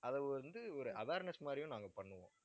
அதை வந்து ஒரு awareness மாதிரியும் நாங்க பண்ணுவோம்